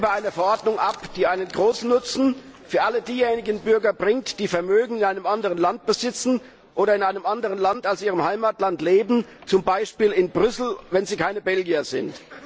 Wir stimmen über eine Verordnung ab, die einen großen Nutzen für alle diejenigen Bürger bringt, die Vermögen in einem anderen Land besitzen oder in einem anderen Land als ihrem Heimatland leben, zum Beispiel in Brüssel, wenn sie keine Belgier sind.